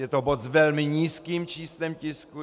Je to bod s velmi nízkým číslem tisku.